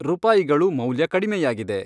ರೂಪಾಯಿಗಳು ಮೌಲ್ಯ ಕಡಿಮೆಯಾಗಿದೆ